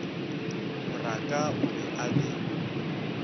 moraka o be a le